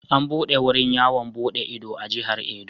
An buɗe wurin yawon buɗe ido a Jihar Edo.